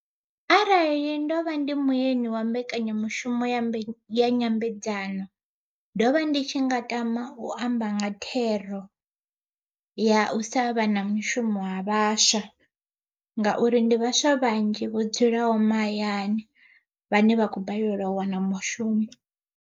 Arali ndovha ndi muyeni wa mbekanyamushumo ya nyambedzano ndovha ndi tshi nga tama u amba nga thero, ya u sa vha na mishumo ha vhaswa. Ngauri ndi vhaswa vhanzhi vho dzulaho mahayani vhane vhakho balelwa u wana mushumo.